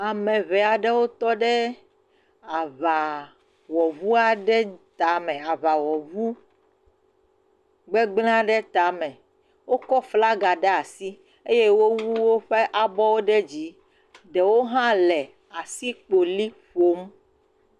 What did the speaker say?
Ame ŋee aɖewo tɔ ɖe aŋawɔŋu aɖe tame aŋawɔŋu gbegblẽ aɖe tame. Wokɔ flaga ɖe asi eye wowu woƒe abɔwo ɖe dzi. Ɖewo hã le asikpeli ƒom.